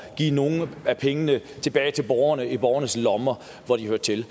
at give nogle af pengene tilbage til borgerne tilbage i borgernes lommer hvor de hører til